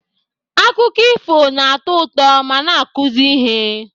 Akụkọ ifo na-atọ ụtọ ma na-akụzi ihe